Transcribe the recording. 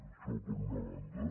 això per una banda